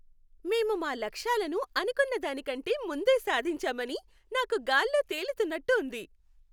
మేము మా లక్ష్యాలను అనుకున్నదాని కంటే ముందే సాధించామని నాకు గాల్లో తేలుతున్నట్టు ఉంది!